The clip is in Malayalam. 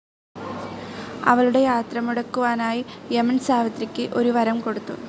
അവളുടെ യാത്രമുടക്കുവാനായി യമൻ സാവിത്രിക്ക് ഒരു വരം കൊടുത്തു.